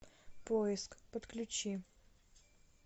поиск подключи